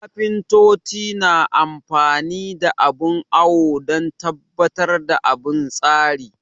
Kafintoci na amfani da abin awo don tabbatar da bin tsari